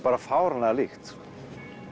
bara fáránlega líkt